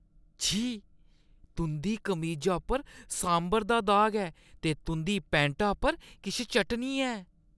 छी, तुंʼदी कमीजा उप्पर सांभर दा दाग ऐ ते तुंʼदी पैंटा पर किश चटनी ऐ।